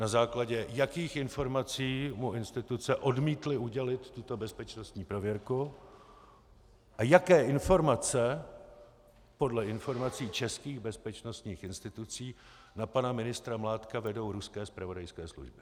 Na základě jakých informací mu instituce odmítly udělit tuto bezpečnostní prověrku a jaké informace podle informací českých bezpečnostních institucí na pana ministra Mládka vedou ruské zpravodajské služby.